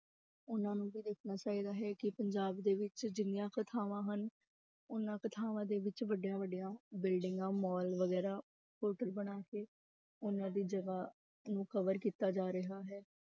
ਉਹਨਾਂ ਨੂੰ ਵੀ ਦੇਖਣਾ ਚਾਹੀਦਾ ਹੈ ਕਿ ਪੰਜਾਬ ਦੇ ਵਿੱਚ ਜਿੰਨੀਆਂ ਕੁ ਥਾਵਾਂ ਹਨ, ਓਨਾ ਕੁ ਥਾਵਾਂ ਦੇ ਵਿੱਚ ਵੱਡਿਆਂ ਵੱਡਿਆਂ ਬਿਲਡਿੰਗਾਂ ਮਾਲ ਵਗ਼ੈਰਾ hotel ਬਣਾ ਕੇ ਉਹਨਾਂ ਦੀ ਜਗ੍ਹਾ ਨੂੰ cover ਕੀਤਾ ਜਾ ਰਿਹਾ ਹੈ।